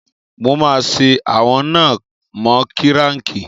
Mo máa ṣe ẹ̀wọ̀n náà mọ́ kíráǹkì.